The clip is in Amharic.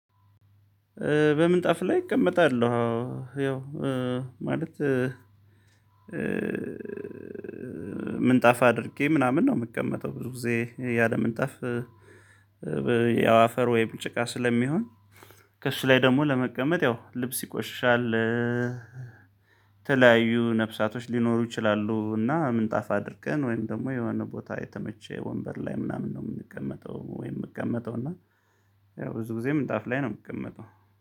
በምንጣፍ ላይ እቀመጣለሁ አዎ ያው ማለት ምንጣፍ አድርጌ ምናምን ነው የምትቀመጠው ብዙ ጊዜ ያለ ምንጣፍ። አፈር ወይም ጭቃ ስለሚሆን ከእሱ ላይ ደግሞ ለመቀመጥ ያው ልብስ ይቆሻሻል። ተለያዩ ነፍሳቶች ሊኖሩ ይችላሉ እና ምንጣፍ አድርገን ወይም ደግሞ የሆነ ቦታ የተመቸ ወንበር ላይ ምናምን ነው የምንቀመጠው ወይ የምቀመጠው እና። ብዙ ጊዜ ምንጣፍ ላይ ነው የምቀመጠው።